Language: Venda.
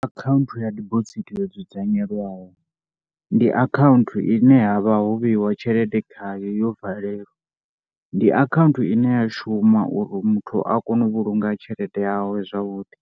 Akhaunthu ya dibosithi yo dzudzanyelwaho ndi akhaunthu ine havha ho vheyiwa tshelede khayo ho valelwa. Ndi akhaunthu ine ya shuma uri muthu a kone u vhulunga tshelede yawe zwavhuḓi.